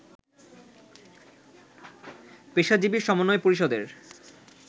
পেশাজীবী সমন্বয় পরিষদের